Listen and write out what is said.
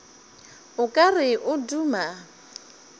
o ka re o duma